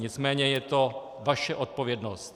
Nicméně je to vaše odpovědnost.